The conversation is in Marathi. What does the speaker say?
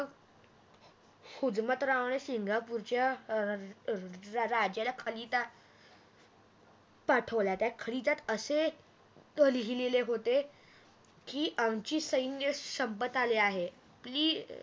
हुजमतरावणे सिंगापूरच्या राज्याला खलिता पाठवला त्या खलीत्यात असे लिहिलेले होते की आमचे सैन्य संपत आली आहेत